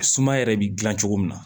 Suma yɛrɛ bɛ gilan cogo min na